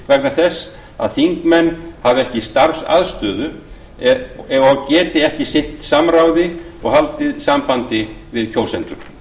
vegna þess að þingmenn hafi ekki starfsaðstöðu og geti ekki sinnt samráði og haldið sambandi við kjósendur